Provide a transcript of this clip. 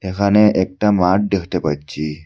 এখানে একটা মাঠ দেখতে পাচ্ছি।